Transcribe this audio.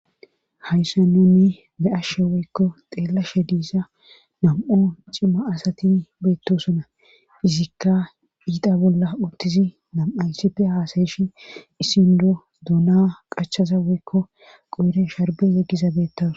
hayssa no ni be7ashshe woykko xeelashe diisa nam7o cima asati beettosona izikka iita bolla udtizi nam7ayssippe haasayeshi issindo duuna qachaza woykko qoere sharbe yeggiza beettaws